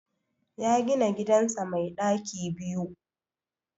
Ya gina gidansa mai ɗaki biyu.